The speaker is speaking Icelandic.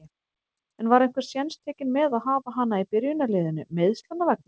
En var einhver séns tekinn með að hafa hana í byrjunarliðinu, meiðslanna vegna?